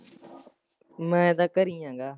ਮੈਂ ਤਾਂ ਕਰੇ ਹੀ ਹੈਗਾ।